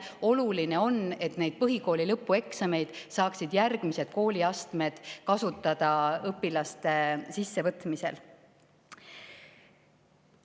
Oluline on, et põhikooli lõpueksameid saaksid järgmised kooliastmed kasutada õpilaste võtmisel.